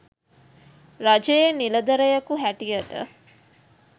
රජයේ නිලධරයකු හැටියට